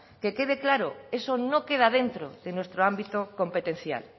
que quede claro eso no queda dentro de nuestro ámbito competencial